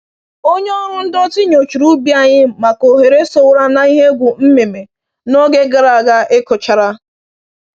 Onye ọrụ ndọtị nyochara ubi anyị maka oghere sowara na ihe egwu mmịmị n’oge gara aga ịkụchara